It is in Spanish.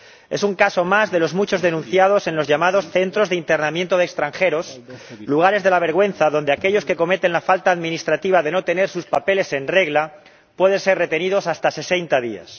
Es un caso más de los muchos denunciados en los llamados Centros de Internamiento de Extranjeros, lugares de la vergüenza, donde aquellos que cometen la falta administrativa de no tener sus papeles en regla pueden ser retenidos hasta 60 días.